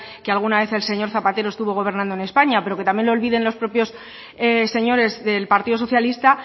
que alguna vez el señor zapatero estuvo gobernando en españa pero que también lo olviden los propios señores del partido socialista